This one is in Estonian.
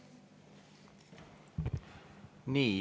Nii.